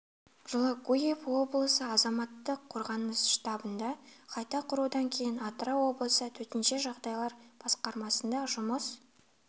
жылы гурьев облысы азаматтық қорғаныс штабында қайта құрудан кейін атырау облысы төтенше жағдайлар басқармасында жұмыс